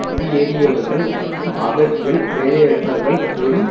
குடியேறியவர்கள் மற்றும் அகதிகள் வேலையற்றவர்கள் பெறும்